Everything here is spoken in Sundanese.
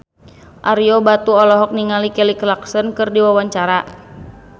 Ario Batu olohok ningali Kelly Clarkson keur diwawancara